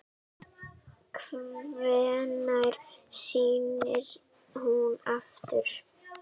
Hvenær snýr hún aftur?